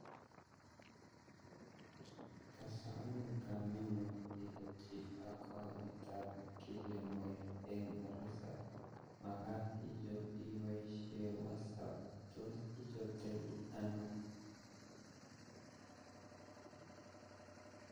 Kasamin kamet nguun ichopchii account ab kilimall eng risap makat ichop ibapaishe wosap tos ichoptaii anoo